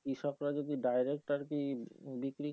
কৃষকরা যদি direct আরকি বিক্রি।